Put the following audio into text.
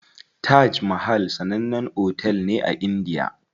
Taj mahal sannan otel ne a indiya.